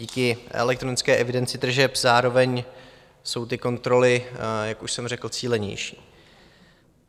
Díky elektronické evidenci tržeb zároveň jsou ty kontroly, jak už jsem řekl, cílenější.